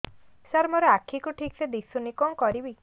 ସାର ମୋର ଆଖି କୁ ଠିକସେ ଦିଶୁନି କଣ କରିବି